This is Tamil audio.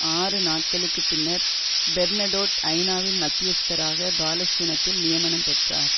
ஆறு நாட்களுக்கு பின்னர் பெர்னடோட் ஐநாவின் மத்தியஸ்தராக பாலஸ்தீனத்தில் நியமனம் பெற்றார்